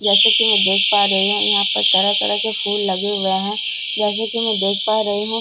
जैसे कि मैं देख पा रही हूं यहां पर तरह तरह के फूल लगे हुए हैं जैसे कि मैं देख पा रही हूं--